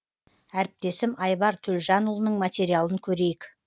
әріптесім айбар төлжанұлының материалын көрейік